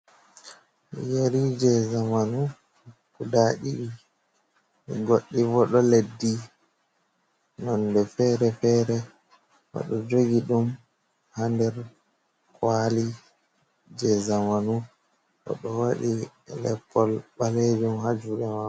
Yari je zamanu kudaii, goddi bo do leddi nonde fere-fere, bodo jogi dum ha der kwali je zamanu, odo wadi leppol balejum hajuge mau.